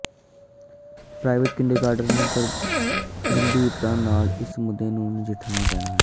private kindergarten ਨੂੰ ਗੰਭੀਰਤਾ ਨਾਲ ਇਸ ਮੁੱਦੇ ਨੂੰ ਨਾਲ ਨਜਿੱਠਣ